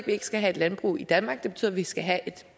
vi ikke skal have landbrug i danmark det betyder at vi skal have et